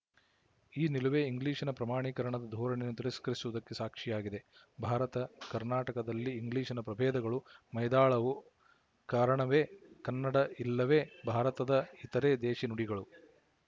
ಈ ನಿಲುವೇ ಇಂಗ್ಲಿಶಿನ ಪ್ರಮಾಣೀಕರಣದ ಧೋರಣೆಯನ್ನು ತಿರಸ್ಕರಿಸುವುದಕ್ಕೆ ಸಾಕ್ಶಿಯಾಗಿದೆ ಭಾರತಕರ್ನಾಟಕದಲ್ಲಿ ಇಂಗ್ಲಿಶಿನ ಪ್ರಭೇದಗಳು ಮೈದಾಳಲು ಕಾರಣವೇ ಕನ್ನಡ ಇಲ್ಲವೇ ಭಾರತದ ಇತರೆ ದೇಶಿ ನುಡಿಗಳು